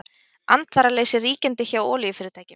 Andvaraleysi ríkjandi hjá olíufyrirtækjum